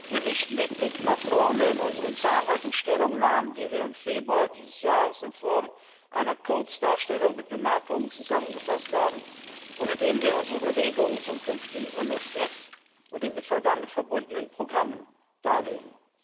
Wir richten den Blick nach vorne in unseren zahlreichen Stellungnahmen, die wir im Februar dieses Jahres in Form einer Kurzdarstellung mit Bemerkungen zusammengefasst haben und in denen wir unsere Überlegungen zum künftigen MFR und den damit verbundenen Programmen darlegen.